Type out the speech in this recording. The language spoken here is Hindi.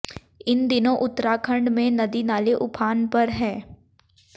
इन दिनों उत्तराखंड में नदी नाले उफान पर है